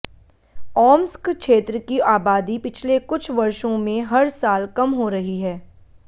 Omsk क्षेत्र की आबादी पिछले कुछ वर्षों में हर साल कम हो रही है